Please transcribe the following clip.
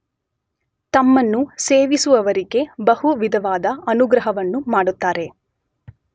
ತಮ್ಮನ್ನು ಸೇವಿಸುವವರಿಗೆ ಬಹು ವಿಧವಾದ ಅನುಗ್ರಹವನ್ನು ಮಾಡುತ್ತಾರೆ.